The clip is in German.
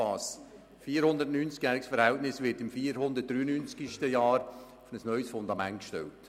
Das 490-jährige Verhältnis wird im 493-sten Jahr auf ein neues Fundament gestellt.